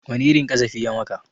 Wani irin ƙazafi ya maka?